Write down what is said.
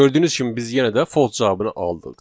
Gördüyünüz kimi biz yenə də false cavabını aldıq.